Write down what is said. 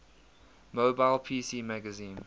mobile pc magazine